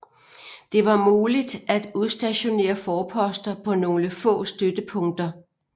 Det var muligt at udstationere forposter på nogle få støttepunkter